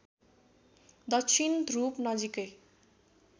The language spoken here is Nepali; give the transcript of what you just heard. दक्षिण ध्रुव नजिकै